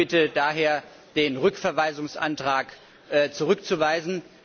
Ich bitte daher, den Rückverweisungsantrag zurückzuweisen.